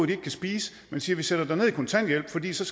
de ikke kan spise man siger vi sætter dig ned i kontanthjælp for det